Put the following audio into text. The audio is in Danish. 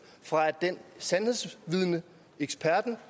af sandhedsvidnets eksperten